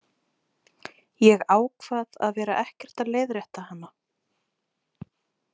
Ég ákvað að vera ekkert að leiðrétta hana.